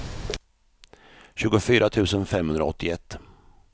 tjugofyra tusen femhundraåttioett